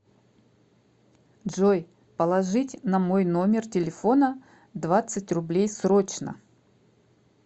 джой положить на мой номер телефона двадцать рублей срочно